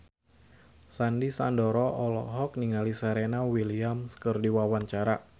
Sandy Sandoro olohok ningali Serena Williams keur diwawancara